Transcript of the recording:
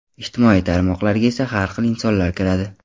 Ijtimoiy tarmoqlarga esa har xil insonlar kiradi.